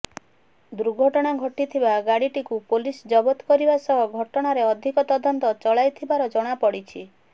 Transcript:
ଦୁର୍ଘଟଣା ଘଟିଥିବା ଗାଡିଟିକୁ ପୋଲିସ ଜବତ କରିବା ସହ ଘଟଣାର ଅଧିକ ତଦନ୍ତ ଚଳାଇଥିବାର ଜଣାପଡିଛି